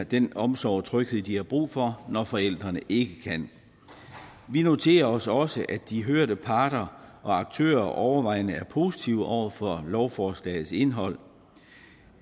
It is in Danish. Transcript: den omsorg og tryghed de har brug for når forældrene ikke kan vi noterer os også at de hørte parter og aktører overvejende er positive over for lovforslagets indhold og